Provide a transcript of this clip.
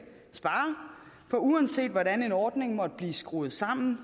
spare for uanset hvordan en ordning måtte blive skruet sammen